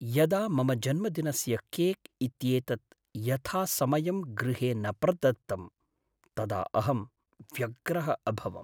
यदा मम जन्मदिनस्य केक् इत्येतद् यथासमयं गृहे न प्रदत्तं तदा अहं व्यग्रः अभवम्।